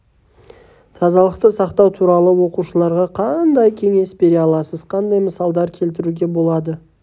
тазалықты сақтау туралы оқушыларға қандай кеңес бере аласыз қандай мысалдар келтіруге болады